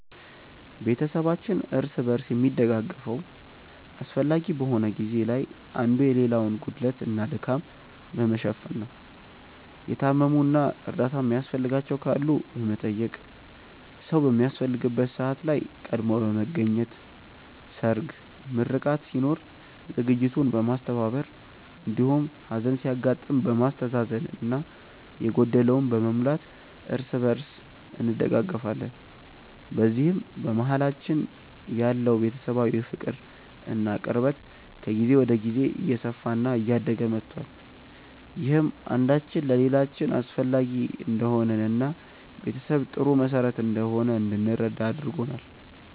ቤተሰባችን እርስ በርስ የሚደጋገፈው አስፈላጊ በሆነ ጊዜ ላይ አንዱ የሌላውን ጉድለት እና ድካም በመሸፈን ነው። የታመሙ እና እርዳታ የሚያስፈልጋቸው ካሉ በመጠየቅ፣ ሰዉ በሚያስፈልግበት ሰዓት ላይ ቀድሞ በመገኘት ሰርግ፣ ምርቃት ሲኖር ዝግጅቱን በማስተባበር እንዲሁም ሀዘን ሲያጋጥም በማስተዛዘን እና የጎደለውን በመሙላት እርስ በእርስ እንደጋገፋለን። በዚህም በመሀላችን ያለው ቤተሰባዊ ፍቅር እና ቅርበት ከጊዜ ወደ ጊዜ እየሰፋ እና እያደገ መቷል። ይህም አንዳችን ለሌላችን አስፈላጊ እንደሆንን እና ቤተሰብ ጥሩ መሰረት እንደሆነ እንድንረዳ አድርጎናል።